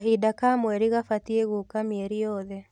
Kahinda ka mweri gabatiĩ gũũka mĩeri yothe